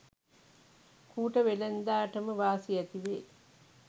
කූට වෙළෙන්දාටම වාසි ඇතිවේ.